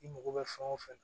I mago bɛ fɛn o fɛn na